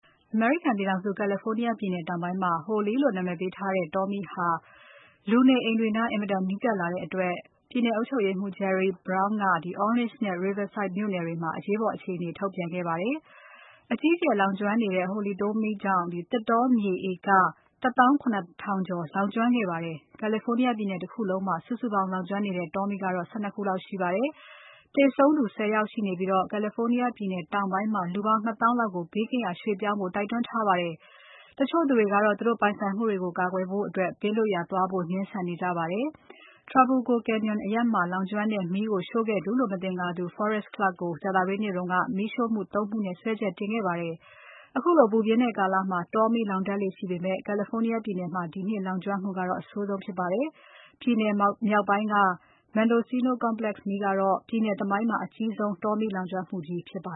အမေရိကန်ပြည်ထောင်စု California တောင်ပိုင်းမှာ Holy လို့နာမည်ပေးထားတဲ့ တောမီး ဟာ လူနေအိမ်တွေနား အင်မတန်နီးကပ်လာတဲ့အတွက် ပြည်နယ်အုပ်ချုပ်ရေးမှူး Jerry Brown က Orange နဲ့ Riverside မြို့နယ်တွေမှာ အရေးပေါ်အခြေအနေ ထုတ်ပြန်ခဲ့ပါတယ်။ အကြီးအကျယ် လောင်ကျွမ်းနေတဲ့ Holy တောမီးကြောင့် သစ်တောမြေဟက်တာ ၇ ကျော်လောင်ကျွမ်းခဲ့ပါတယ်။ California ပြည်နယ်တခုလုံးမှာ စုစုပေါင်း လောင်ကျွမ်းနေတဲ့ တောမီးပေါင်းက ၁၂ ခုလောက်ရှိပါတယ်။ သေဆုံးသူ ၁၀ ယောက်ရှိနေပြီး California ပြည်နယ်တောင်ပိုင်းမှာ လူပေါင်း ၂ သောင်းလောက်ကို ဘေးကင်းရာ ရွှေ့ပြောင်းကြဖို့ တိုက်တွန်းထားပါတယ်။ တချို့သူတွေကတော့ သူတို့ပိုင်ဆိုင်မှုတွေကို ကာကွယ်ဖို့အတွက် ဘေးလွတ်ရာ သွားဖို့ ငြင်းဆန်နေကြပါတယ်။ Trabuco Canyon အရပ်မှာလောင်ကျွမ်းတဲ့ မီးကိုရှို့ခဲ့သူလို့ မသင်္ကာသူ Forrest Clark ကို ကြာသပတေးနေ့က မီးရှို့မှု ၃ ခုနဲ့ စွဲချက်တင်ခဲ့ပါတယ်။ ခုလိုပူပြင်းတဲ့ကာလမှာ တောမီးလောင်တတ်လေ့ရှိပေမဲ့ California ပြည်နယ်မှာ ဒီနှစ်လောင်ကျွမ်းမှုကတော့ အဆိုးဆုံးဖြစ်ပါတယ်။ ပြည်နယ်မြောက်ပိုင်းက Mendocino Complex မီးကတော့ ပြည်နယ်သမိုင်းမှာ အကြီးဆုံး တောမီးလောင်ကျွမ်းမှုကြီးဖြစ်ပါ